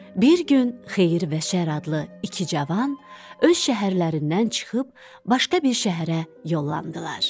Bir gün Xeyir və Şər adlı iki cavan öz şəhərlərindən çıxıb başqa bir şəhərə yollandılar.